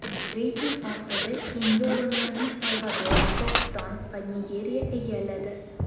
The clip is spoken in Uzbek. Reyting oxirida keyingi o‘rinlarni Salvador, Pokiston va Nigeriya egalladi.